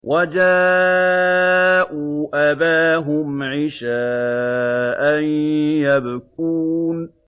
وَجَاءُوا أَبَاهُمْ عِشَاءً يَبْكُونَ